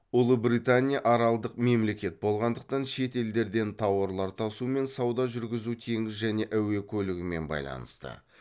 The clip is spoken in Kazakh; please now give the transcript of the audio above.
ұлыбритания аралдық мемлекет болғандықтан шет елдерден тауарлар тасу мен сауда жүргізу теңіз және әуе көлігімен байланысты